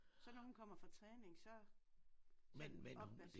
Så nu hun kommer fra træning så så er opvask